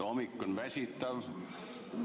Hommik on väsitav.